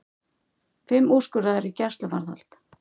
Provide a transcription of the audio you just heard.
Fimm úrskurðaðir í gæsluvarðhald